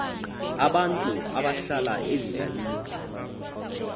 abantu abahlala ezilalini